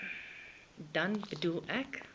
dan bedoel ek